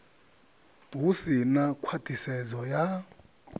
hu si na khwaṱhisedzo ya